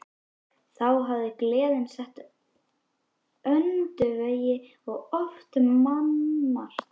Þá hafði gleðin setið í öndvegi og oft mannmargt.